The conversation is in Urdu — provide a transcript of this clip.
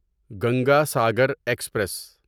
گنگا ساگر ایکسپریس